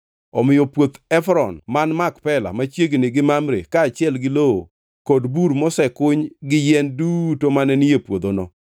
Omiyo puoth Efron man Makpela machiegni gi Mamre kaachiel gi lowo kod bur mosekuny gi yien duto mane ni e puodhono,